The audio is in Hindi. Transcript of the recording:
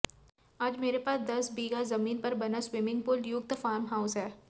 आज मेरे पास दस बीघा जमीन पर बना स्विमिंग पूल युक्त फार्म हाउस है